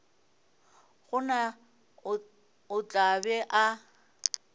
gona o tla be a